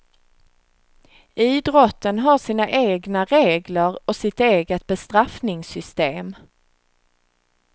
Idrotten har sina egna regler och sitt eget bestraffningssystem.